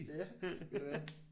Ja eller hvad